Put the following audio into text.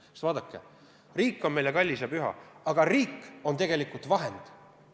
Sest vaadake, riik on meile kallis ja püha, aga riik on tegelikult vahend.